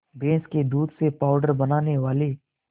भैंस के दूध से पावडर बनाने वाले